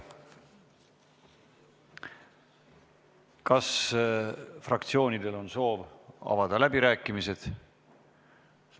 Kas fraktsioonidel on soovi avada läbirääkimisi?